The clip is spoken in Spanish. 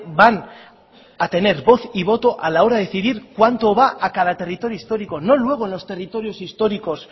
van a tener voz y voto a la hora de decidir cuánto va a cada territorio histórico no luego en los territorios históricos